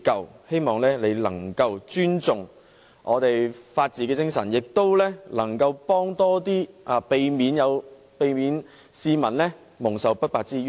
我希望你能夠尊重本港的法治精神，並提供更多協助，以免市民蒙受不白之冤。